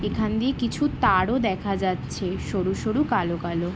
এখান দিয়ে কিছু তারও দেখা যাচ্ছে সরু সরু কালো কালো।